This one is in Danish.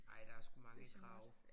Ej der er sgu mange krav